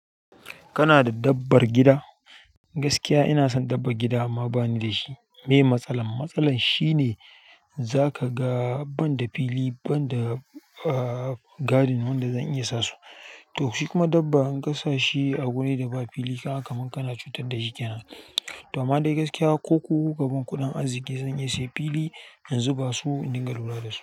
Kana da dabbar gida? Gaskiya ina son dabban gida amma bani da shi. Me ye matsalan? Matsalan shine za ka ga banda fili, banda garden wanda zan iya sa su. To shi kuma dabba in ka sa shi a wuri da ba fili ka ga kamar kana cutar da shi ke nan. To amma ni dai gaskiya ko ku ku ka ban kuɗin arziki zan iya sayan fili, in zuba su in dinga lura da su.